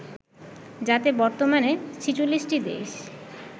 যাতে বর্তমানে ৪৬টি দেশ